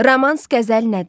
Romans qəzəl nədir?